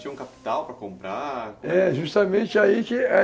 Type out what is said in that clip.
Tinha um capital para comprar? É, justamente aí